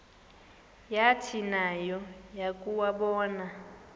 yathi nayo yakuwabona